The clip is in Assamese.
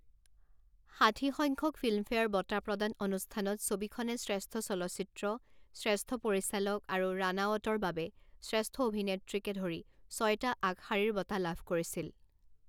ষাঠি সংখ্যক ফিল্মফেয়াৰ বঁটা প্ৰদান অনুষ্ঠানত ছবিখনে শ্ৰেষ্ঠ চলচ্চিত্ৰ, শ্ৰেষ্ঠ পৰিচালক আৰু ৰাণাৱটৰ বাবে শ্ৰেষ্ঠ অভিনেত্ৰীকে ধৰি ছয়টা আগশাৰীৰ বঁটা লাভ কৰিছিল।